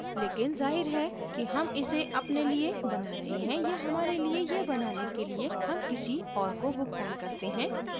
लेकिन जाहिर है कि हम इसे अपने लिए बना रहे हैं या हमारे लिए यह बनाने के लिए हम किसी और को भुगतान करते हैं